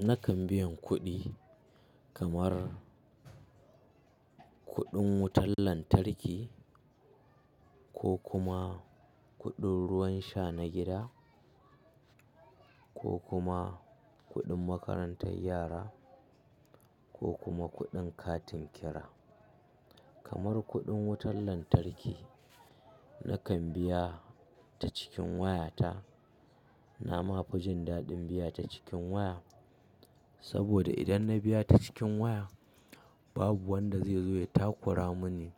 Nakan biyan kuɗi kamar kuɗin wutan lantarki, ko kuma kuɗin ruwan sha na gida ko kuma kuɗin makarantar yara ko kuma kuɗin katin kira. Kamar kuɗin wutan lantarki, nakan biya ta cikin wayata. Na ma fi jin daɗin biya ta cikin waya saboda idan na biya ta cikin waya, babu wanda zai zo ya takura mini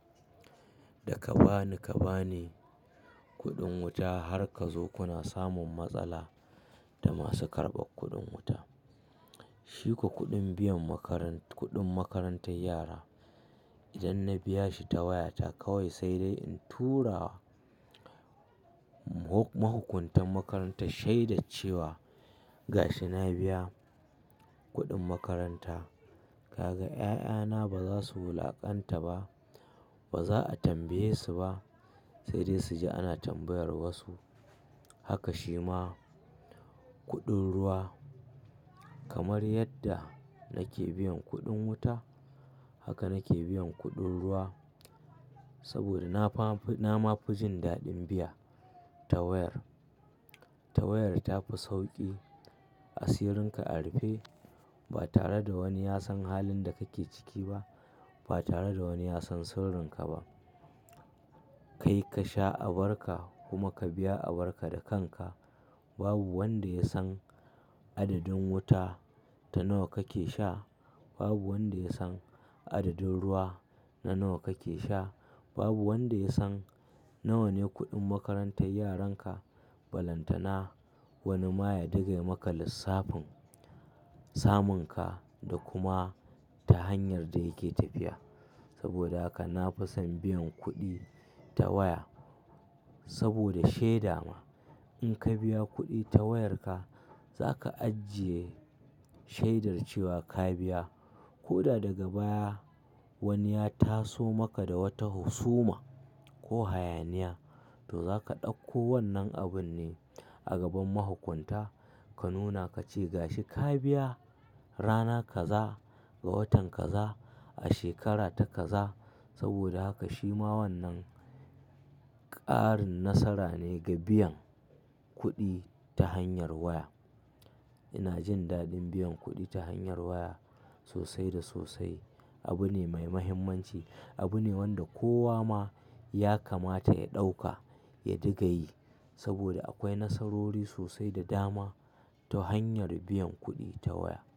da, ka bani ka bani kuɗin wuta har ka zo kuna samun matsala da masu karɓar kuɗin wuta. Shiko kuɗin biyan makaran kuɗin makarantan yara, idan na biya shi ta wayata kawai sai dai in tura mahukuntan makarantan shaidaccewa gashi na biya kuɗin makaranta. Kaga 'ya'yana ba za su wulaƙanta ba, ba za a tambaye su ba sai dai su ji ana tambayar wasu. Haka shi ma kuɗin ruwa kamar yadda nake biyan kuɗin wuta, haka nake biyan kuɗin ruwa saboda na fa anfi na ma fujin daɗin biya ta wayar, ta wayar tafi sauƙi. Asirin ka a rufe ba tare da wani ya san halin da kake ciki ba, ba tare da wani ya san sirrinka ba. Kai ka sha abar ka kuma ka biya abar ka da kanka. Babu wanda ya san adadin wuta ta nawa kake sha. Babu wanda ya san adadin ruwa na nawa kake sha. Babu wanda ya san nawa ne kuɗin makarantar yaran ka. Balantana wani ma ya dinga yi maka lissafin, samun ka, da kuma ta hanyar da yake tafiya. Saboda haka na fi son biyan kuɗi ta waya. Saboda shaida ma, in ka biya kuɗi ta wayarka za ka ajiye shaidar cewa ka biya. Ko da daga baya wani ya taso maka da wata husuma, ko hayaniya, to za ka ɗauko wannan abun ne a gaban mahukunta ka nuna ka ce gashi ka biya rana kaza, ga watan kaza, a shekara ta kaza. Saboda haka shi ma wannan ƙarin nasara ne ga biyan kuɗi ta hanyar waya. Ina jin daɗin biyan kuɗi ta hanyar waya sosai da sosai. Abu ne mai muhimmanci. Abu ne wanda kowa ma ya kamata ya ɗauka ya dinga yi saboda akwai nasarori sosai da dama ta hanyar biyan kuɗi ta waya.